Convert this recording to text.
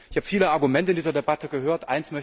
Ich habe viele Argumente in dieser Debatte gehört.